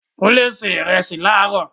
Kúnlé se ìrẹsì láró